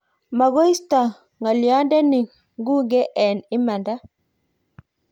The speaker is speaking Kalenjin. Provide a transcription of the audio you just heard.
maguisoti ng'oliondeni ng'ung'e eng imanda